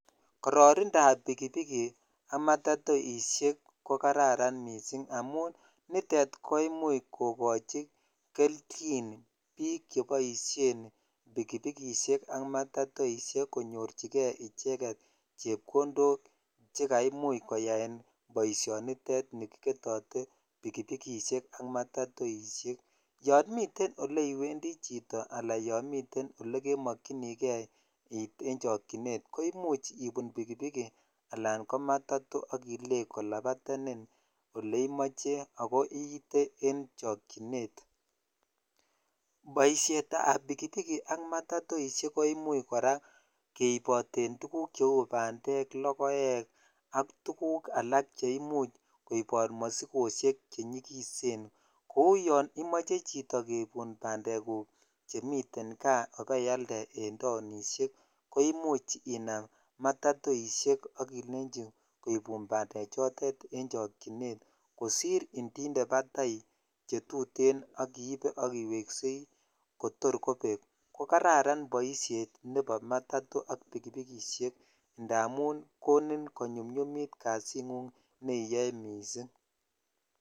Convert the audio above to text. kororindab pikipiki ak matatoishek ko kararan kot mising amun niton kokochin kelchin biik cheboishen pikipikishek ak matatoishek konyorchike icheket chepkondok chekaimuch koyaen boishonitet nikiboishote pikipikishek ak matatoishek, yoon miten oleiwendi chito alaan yoon miten olee kemokyinike iit en chokyinet ko imuch ibun pikipiki alaan ko matato ak ileei kolabatenin oleimoche ako iite en chokyinet, boishetab pikipiki ak matato kora koimuch keiboten tukuk cheuu bandek lokoek ak tukuk alak cheimuch koibot mosikoshek chenyikisen kouu yoon imoche chito keibun bandekuk chemiten kaa ibeialde en taonishek koimuch inam matatoishek ak ilenchi koibun bandechotet en chokyinet kosir indinte batai chetuten ak ibee a iweksei kotor kobek ko kararan boishet nebo matato ak pikipikishek ndamun konin konyumnyumit kasingung neiyoe mising.